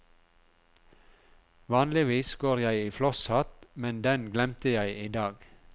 Vanligvis går jeg i flosshatt, men den glemte jeg i dag.